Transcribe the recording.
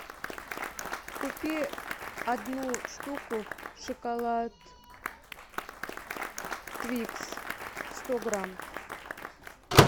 купи одну штуку шоколад твикс сто грамм